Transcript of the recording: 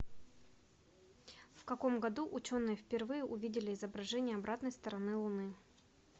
в каком году ученые впервые увидели изображения обратной стороны луны